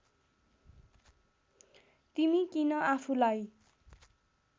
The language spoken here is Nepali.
तिमी किन आफुलाई